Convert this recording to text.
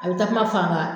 A bɛ takuma faa